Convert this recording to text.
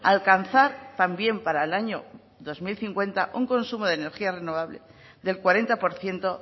alcanzar también para el año dos mil cincuenta un consumo de energía renovable del cuarenta por ciento